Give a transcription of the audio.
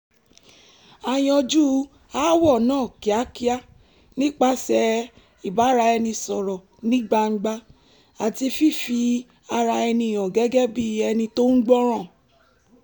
a yanjú aáwọ̀ náà kíákíá nípasẹ̀ ìbáraẹnisọ̀rọ̀ ní gbangba àti fífi ara ẹni hàn gẹ́gẹ́ bí ẹni tó ń gbọ́ràn